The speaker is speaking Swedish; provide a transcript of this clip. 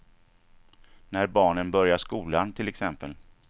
När barnen börjar skolan till exempel.